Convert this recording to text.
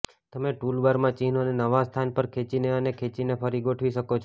તમે ટૂલબારમાં ચિહ્નોને નવા સ્થાન પર ખેંચીને અને ખેંચીને ફરી ગોઠવી શકો છો